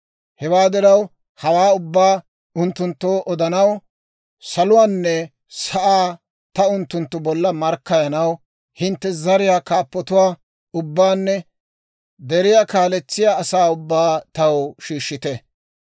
Hewaa diraw, hawaa ubbaa ta unttunttoo odanaw, saluwaanne sa'aa ta unttunttu bolla markkayanaw, hintte zariyaa kaappatuwaa ubbaanne deriyaa kaaletsiyaa asaa ubbaa taw shiishshite.